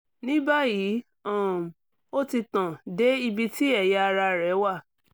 ní báyìí um ó ti tàn dé ibi tí ẹ̀yà ara rẹ̀ wà